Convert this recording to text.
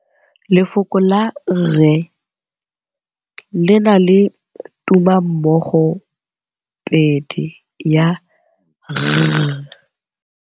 Lefoko la rre le na le tumammogôpedi ya, r.